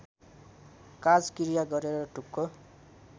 काजक्रिया गरेर ढुक्क